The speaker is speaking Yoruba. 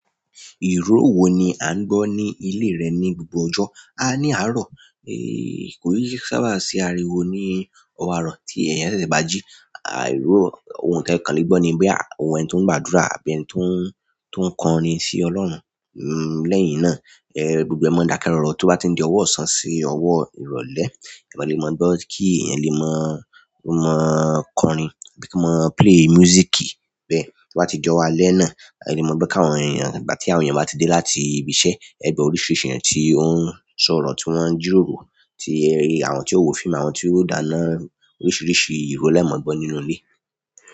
Ìró wo ni a ń gbọ́ ní ilé rẹ ní gbogbo ọjọ́, a ní àárọ̀. Ko n sábà n si àríwo ní ọ̀wọ́ àárọ̀ tí eeyàn tètè bà ji. Àìró ohun te kan lè gbọ́ ni boya òhun ẹni tó ń gbàdúrà àbí ẹni tó ń, tó ń kọrin sí Ọlọ́run. Lẹ́yìn èyí náà, gbogbo ẹ̀ mọ́ n dakẹ́ rọ̀rọ̀ tó bá ti n di ọwọ́ ṣán sí ọwọ́ ìrọ̀lẹ́. Mọ́ lè mọ̀ gbọ́ kí èèyàn lè mọ̀, o mọ́ kọrin àbí ko mọ́ play music bẹ́ẹ̀ tó bá ti di ọwo álẹ́ náà. Ẹ lè mọ̀ gbo kàwọn èèyàn, ígbà tí àwọn èèyàn bá ti dé láti ibi iṣẹ́, ẹ̀ gbo oríṣìíríṣìí èèyàn tí ó ń sọ̀rọ̀ tí wọ́n ń jíròrò, tí àwọn tí o wò fíìmù àwọn tí ó dáná oríṣìíríṣìí ìró lẹ́ẹ̀ mọ̀ gbọ́ nínúlé.